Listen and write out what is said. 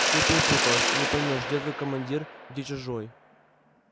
все перепуталось не поймёшь где твой командир где чужой